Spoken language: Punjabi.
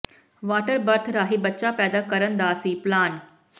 ਵਾਟਰ ਬਰਥ ਰਾਹੀਂ ਬੱਚਾ ਪੈਦਾ ਕਰਨ ਦਾ ਸੀ ਪਲਾਨ